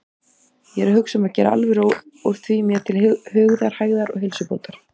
Ég er að hugsa um að gera alvöru úr því mér til hugarhægðar og heilsubótar.